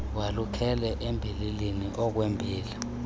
walukele embilinini okwembila